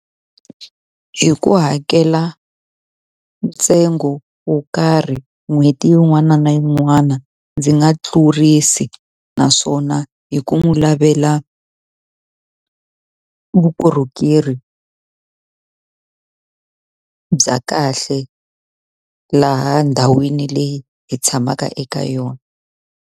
Hi ku hakela ntsengo wo karhi n'hweti yin'wana na yin'wana ndzi nga tlurisi. Naswona hi ku n'wi lavela vukorhokeri bya kahle laha ndhawini leyi hi tshamaka eka yona.